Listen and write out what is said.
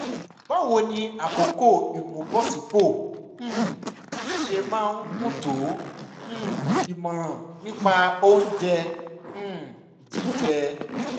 báwo ni àkókò ìmúbọ̀sípò um ṣe máa ń gùn tó? um ìmọ̀ràn nípa oúnjẹ um jíjẹ?